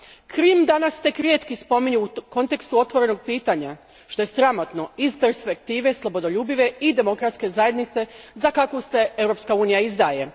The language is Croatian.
Krim danas tek rijetki spominju u kontekstu otvorenog pitanja, što je sramotno iz perspektive slobodoljubive i demokratske zajednice za kakvu se Europska Unija izdaje.